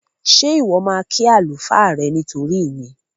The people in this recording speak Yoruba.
Ṣé Ìwọ́ máa kí àlùfáà rẹ nítorí mi?